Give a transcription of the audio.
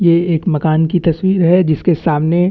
ये एक मकान की तस्वीर है जिसके सामने --